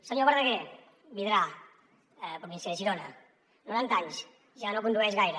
senyor verdaguer vidrà província de girona noranta anys ja no condueix gaire